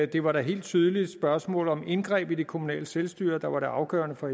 det var da helt tydeligt spørgsmålet om indgreb i det kommunale selvstyre der var det afgørende for